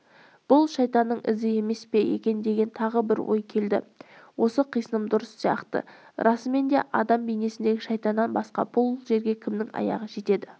бұл шайтанның ізі емес пе екен деген тағы бір ой келді осы қисыным дұрыс сияқты расымен де адам бейнесіндегі шайтаннан басқа бұл жерге кімнің аяғы жетеді